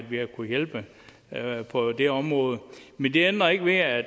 vi har kunnet hjælpe på det område men det ændrer ikke ved at